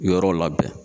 Yɔrɔw labɛn